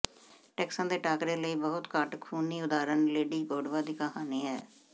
ਟੈਕਸਾਂ ਦੇ ਟਾਕਰੇ ਲਈ ਬਹੁਤ ਘੱਟ ਖੂਨੀ ਉਦਾਹਰਣ ਲੇਡੀ ਗੋਡਵਾ ਦੀ ਕਹਾਣੀ ਹੈ